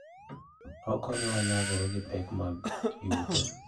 Okonyowa nyagore gi pek mag yuto.